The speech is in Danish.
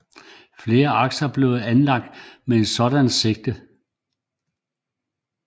Flere akser blev anlagt med et sådant sigte